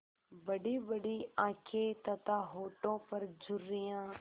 बड़ीबड़ी आँखें तथा होठों पर झुर्रियाँ